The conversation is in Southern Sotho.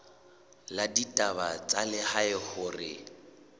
la ditaba tsa lehae hore